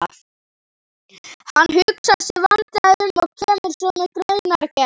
Hann hugsar sig vandlega um og kemur svo með greinargerð.